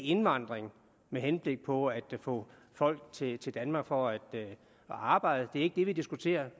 indvandring med henblik på at få folk til til danmark for at arbejde det er ikke det vi diskuterer